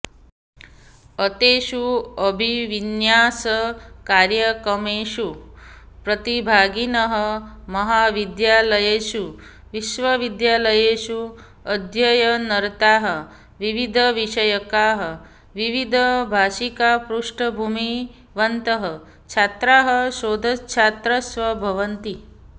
एतेषु अभिविन्यासकार्यक्रमेषु प्रतिभागिनः महाविद्यालयेषु विश्वविद्यालयेषु अध्ययनरताः विविधविषयकाः विविधभाषिकपृष्ठभूमिवन्तः छात्राः शोधच्छात्राश्च भवन्ति